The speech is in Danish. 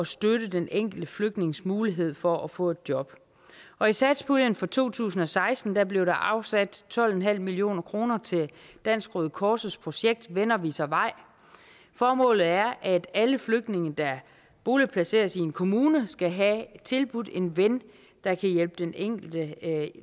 støtte den enkelte flygtnings mulighed for at få et job og i satspuljen for to tusind og seksten blev der afsat tolv en halv million kroner til dansk røde kors projekt venner viser vej formålet er at alle flygtninge der boligplaceres i en kommune skal have tilbudt en ven der kan hjælpe den enkelte